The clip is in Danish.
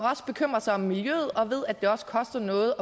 bekymrer sig om miljøet og ved at det også koster noget